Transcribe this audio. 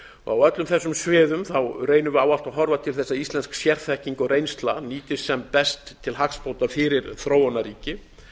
á öllum þessum sviðum reynum við alltaf að horfa bil þess að íslensk sérþekking og reynsla nýtist sem best til hagsbóta fyrir þróunarríkin